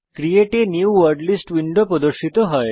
create a new word list window প্রদর্শিত হয়